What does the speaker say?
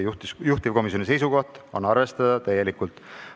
Juhtivkomisjoni seisukoht on arvestada seda täielikult.